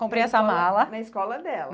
Comprei essa mala... Na escola na escola dela.